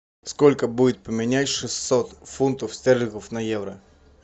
сколько будет поменять шестьсот фунтов стерлингов на евро